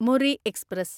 മുറി എക്സ്പ്രസ്